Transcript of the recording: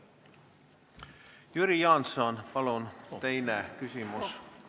Jüri Jaanson, palun, teine küsimus!